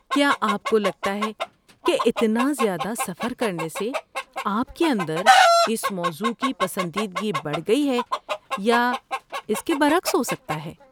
کیا آپ کو لگتا ہے کہ اتنا زیادہ سفر کرنے سے آپ کے اندر اس موضوع کی پسندیدگی بڑھ گئی ہے یا اس کے برعکس ہو سکتا ہے؟